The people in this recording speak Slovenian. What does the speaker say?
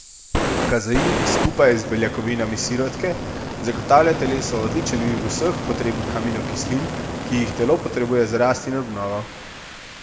Kazein, skupaj z beljakovinami sirotke, zagotavlja telesu odličen vir vseh potrebnih aminokislin, ki jih telo potrebuje za rast in obnovo.